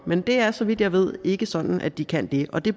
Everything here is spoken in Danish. men det er så vidt jeg ved ikke sådan at de kan det og det